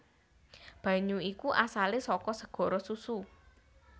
Banyu iku asalé saka segara susu